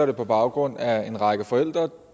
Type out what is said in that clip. det på baggrund af at en række forældre